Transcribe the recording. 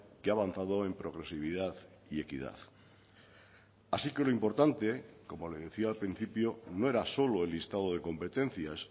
que ha avanzado en progresividad y equidad así que lo importante como le decía al principio no era solo el listado de competencias